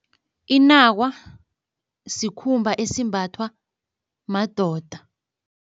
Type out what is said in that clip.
Inakwa sikhumba esimbathwa madoda.